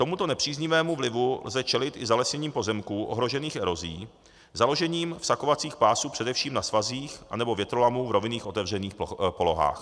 Tomuto nepříznivému vlivu lze čelit i zalesněním pozemků ohrožených erozí, založením vsakovacích pásů především na svazích anebo větrolamů v rovinných otevřených polohách.